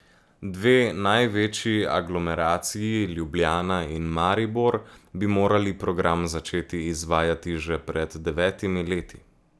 Dve največji aglomeraciji Ljubljana in Maribor bi morali program začeti izvajati že pred devetimi leti.